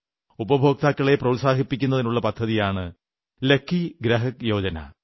ഉപഭോക്താക്കളെ പ്രോത്സാഹിപ്പിക്കാനുള്ള പദ്ധതിയാണ് ലക്കി ഗ്രാഹക് യോജനാ